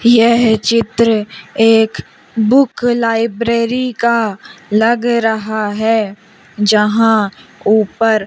यह चित्र एक बुक लाइब्रेरी का लग रहा है जहां ऊपर--